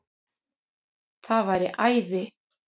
Það væri æði